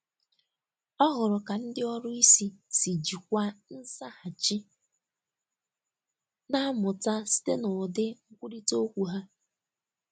Ọ hụrụ ka ndị ọrụ isi si jikwaa nzaghachi, na-amụta site n’ụdị nkwurịta okwu ha.